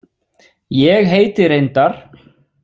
Ég heiti reyndar.